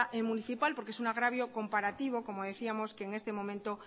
municipal porque es un agravio comparativo como decíamos que en este momento